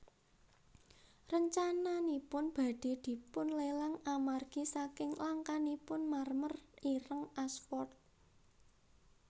Rencananipun badhé dipunlelang amargi saking langkanipun marmer ireng Ashford